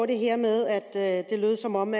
det her med at det lød som om